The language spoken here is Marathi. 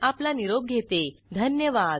सहभागासाठी धन्यवाद